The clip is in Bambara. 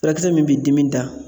Furakisɛ min bi dimi da